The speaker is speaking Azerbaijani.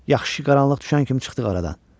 Yaxşı ki, qaranlıq düşən kimi çıxdıq aradan.